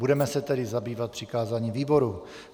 Budeme se tedy zabývat přikázáním výborům.